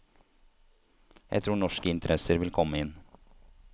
Jeg tror norske interesser vil komme inn.